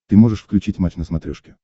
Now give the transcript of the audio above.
ты можешь включить матч на смотрешке